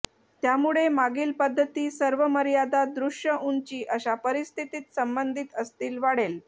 त्यामुळे मागील पद्धती सर्व मर्यादा दृश्य उंची अशा परिस्थितीत संबंधित असतील वाढेल